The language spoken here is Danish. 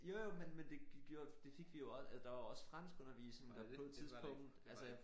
Jo jo men men det gik jo og det fik vi jo også altså der var jo også franskundervisning der på et tidspunkt altså